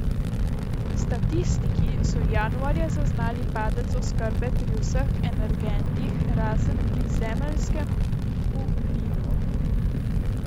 Statistiki so januarja zaznali padec oskrbe pri vseh energentih, razen pri zemeljskemu plinu.